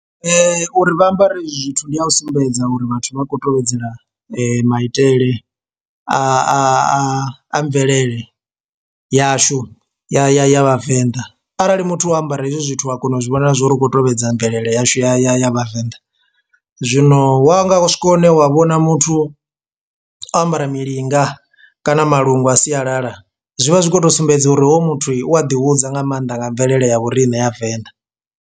Uri vha ambare hezwi zwithu ndi a u sumbedza uri vhathu vha khou tevhedzela maitele a a a a mvelele yashu ya ya ya vhavenḓa, arali muthu o ambara hezwi zwithu a kona u zwi vhona zwori u kho tovhedza mvelele yashu ya ya ya vhavenḓa. Zwino wa nga swika hune wa vhona muthu o ambara milinga kana malungu a sialala zwivha zwi khoto sumbedza uri hoyu muthu u a ḓi hudza nga maanḓa nga mvelele ya vhoriṋe ya venḓa.